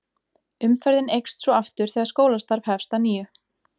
Umferðin eykst svo aftur þegar skólastarf hefst að nýju.